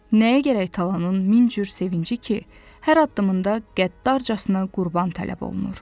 Nəyə gərək talanın min cür sevinci ki, hər addımında qəddarcasına qurban tələb olunur.